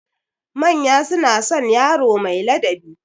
Manya suna son yaro mai ladabi.